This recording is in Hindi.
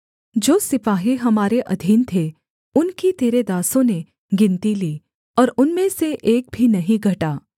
जो सिपाही हमारे अधीन थे उनकी तेरे दासों ने गिनती ली और उनमें से एक भी नहीं घटा